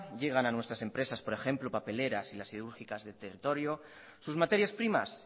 llegan a nuestras empresas por ejemplo papeleras y las siderúrgicas del territorio sus materias primas